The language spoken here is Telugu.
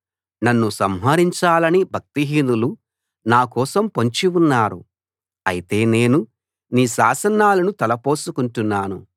నన్ను సంహరించాలని భక్తిహీనులు నా కోసం పొంచి ఉన్నారు అయితే నేను నీ శాసనాలను తలపోసుకుంటున్నాను